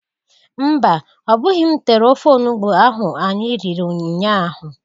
Mba! Ọbụghị m tere ofe onugbo ahụ anyị riri nnya ahụ.